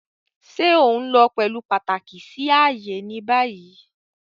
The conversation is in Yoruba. Ṣe o nlo pẹlu pataki si aaye ni bayi?